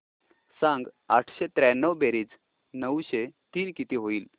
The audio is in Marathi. सांग आठशे त्र्याण्णव बेरीज नऊशे तीन किती होईल